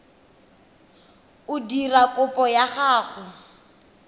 o dira kopo ya gago